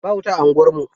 Ba wuta a unguwarmu.